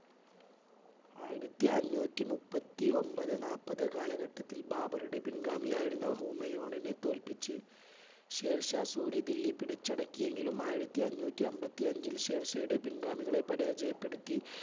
ആയിരത്തി അഞ്ഞൂറ്റി മുപ്പത്തി ഒൻപത് നാൽപത് കാലഘട്ടത്തിൽ ബാബറുടെ പിൻഗാമി ആയിരുന്ന ഹുമയൂണിനെ തോൽപ്പിച്ച് ഷേർഷാ സൂര്യ ദില്ലി പിടിച്ചടക്കിയെങ്കിലും ആയിരത്തി അഞ്ഞൂറ്റി അൻപത്തി അഞ്ചിൽ ഷേർഷായുടെ പിൻഗാമികളെ പരാജയപ്പെടുത്തി,